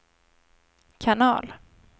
kanal